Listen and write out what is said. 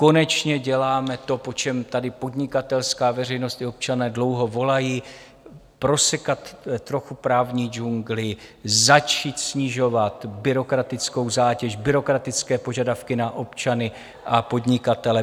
Konečně děláme to, po čem tady podnikatelská veřejnost i občané dlouho volají: prosekat trochu právní džungli, začít snižovat byrokratickou zátěž, byrokratické požadavky na občany a podnikatele.